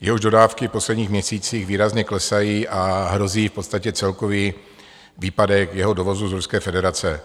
jehož dodávky v posledních měsících výrazně klesají, a hrozí v podstatě celkový výpadek jeho dovozu z Ruské federace.